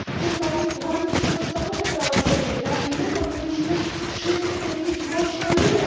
Tutaj łamie się podstawowe prawa człowieka i my powinniśmy wszyscy powiedzieć głośno nie.